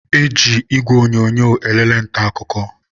e ji igwe onyonyo elele nta akụkọ